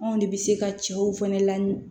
Anw de bɛ se ka cɛw fɛnɛ lamin